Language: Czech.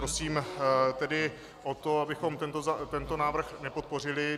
Prosím tedy o to, abychom tento návrh nepodpořili.